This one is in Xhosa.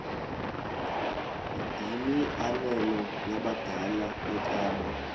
yimianelo yabadala yokaba